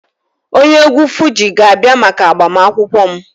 Onye egwu Fuji ga-abia maka agbamakwụkwọ m